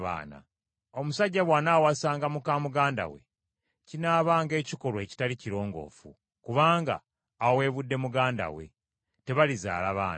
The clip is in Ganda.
“ ‘Omusajja bw’anaawasanga muka muganda we, kinaabanga ekikolwa ekitali kirongoofu, kubanga aweebudde muganda we. Tebalizaala baana.